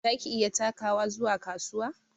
Za ki iya takawa zuwa kasuwa?